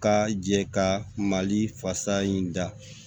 Ka jɛ ka mali fasa in da